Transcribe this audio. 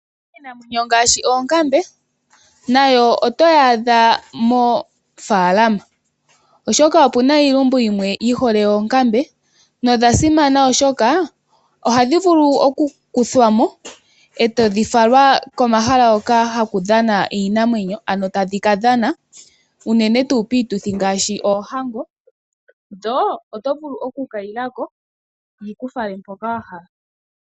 Iinamwenyo ngaashi oonkambe nayo oto yaadha moofalama, oshoka opuna iilumbu yimwe yi hole oonkambe nodha simana oshoka ohadhi vulu oku kuthwa mo etadhi falwa komahala hoka haku dhana iinamwenyo, tadhi kadhana uunene tuu kiituthi ngaashi oohango, dho oto vulu oku kayilako dhiku fale mpoka wa hala.